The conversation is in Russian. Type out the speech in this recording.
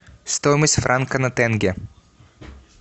стоимость франка на тенге